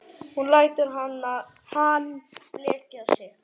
Hún lætur hann blekkja sig.